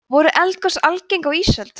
voru eldgos algeng á ísöld